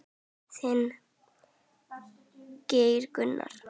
Þinn, Geir Gunnar.